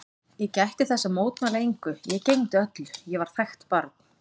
Ég gætti þess að mótmæla engu, ég gegndi öllu, ég var þægt barn.